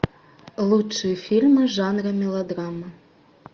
лучшие фильмы жанра мелодрама